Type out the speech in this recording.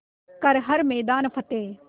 कर हर मैदान फ़तेह